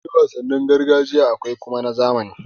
Akwai wasannin gargajiya akwai kuma ta zamani.